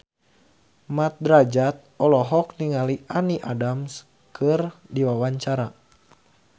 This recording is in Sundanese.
Mat Drajat olohok ningali Amy Adams keur diwawancara